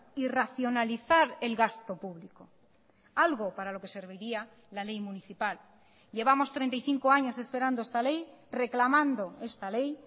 y racionalizar el gasto público algo para lo que serviría la ley municipal llevamos treinta y cinco años esperando esta ley reclamando esta ley